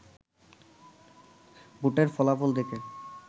ভোটের ফলাফল দেখে